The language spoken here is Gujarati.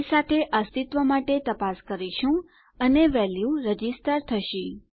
એ સાથે અસ્તિત્વ માટે તપાસ કરીશું અને વેલ્યુ રજિસ્ટર થશે